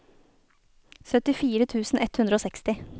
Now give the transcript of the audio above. syttifire tusen ett hundre og seksti